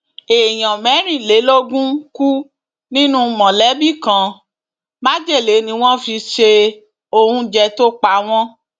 èèyàn mẹrìnlélógún kú nínú mọlẹbí kan májèlé ni wọn fi se oúnjẹ tó pa wọn